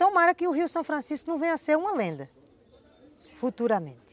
Tomara que o Rio São Francisco não venha a ser uma lenda, futuramente.